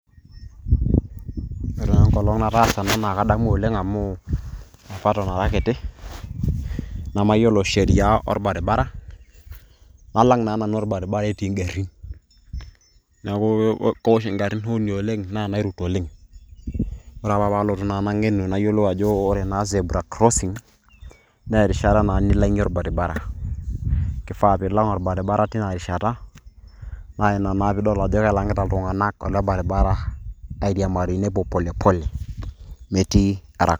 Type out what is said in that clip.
ore naa enkolong natasa naakadamu oleng amu apa eton arakiti namayiolo sheria orbaribara nalang naa nanu orbariba etii igarin neeku keeosh igarin honi oleng naa nairut oleng, ore apa pee alotu nagenu nayiolou zebra crossing ,nayiolou ajo ore naa zebra crosing naa alang orbaribara kifaa naa nilang orbariba tina rishata naa ina pidol ajo kelagita oltungana,k naa ina pee idol ajo kelang'ita iltunganak ariamaki nepuo polepole metii araka.